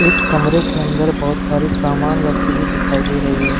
एक कमरे के अंदर बहुत सारी सामान रखी हुई दिखाई दे रही है।